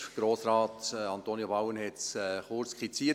– Grossrat Antonio Bauen hat es kurz skizziert.